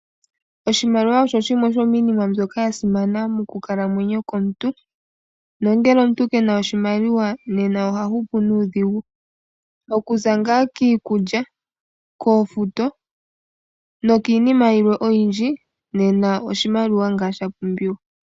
Oshimaliwa osho shimwe shomiinima mbyoka yasimana mokukalamwenyo komuntu, nongele omuntu kena oshimaliwa, nena oha hupu nuudhigu. Okuza ngaa kiikulya, koofuto, niinima yilwe oyindji, nena oshimaliwa ngaa shapumbiwa.